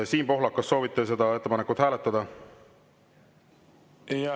Siim Pohlak, kas soovite seda ettepanekut hääletada?